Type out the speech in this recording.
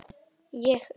Ég upp